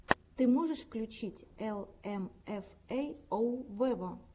ты можешь включить эл эм эф эй оу вево